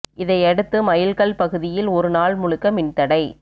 இதையடுத்து மைல் கல் பகுதியில் ஒரு நாள் முழுக்க மின் தடை